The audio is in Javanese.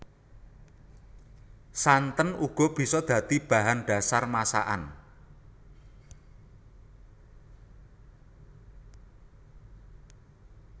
Santen uga bisa dadi bahan dhasar masakan